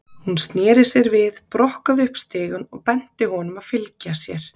Hún sneri sér við, brokkaði upp stigann og benti honum að fylgja sér.